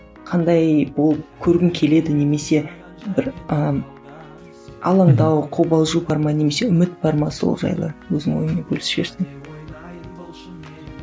қандай болу көргің келеді немесе бір ы алаңдау қобалжу бар ма немесе үміт бар ма сол жайлы өзіңнің ойыңмен бөлісіп жіберсең